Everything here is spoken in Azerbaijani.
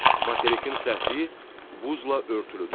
Materikin səthi buzla örtülüdür.